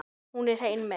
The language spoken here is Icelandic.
Hún er hrein mey.